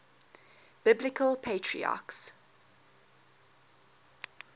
biblical patriarchs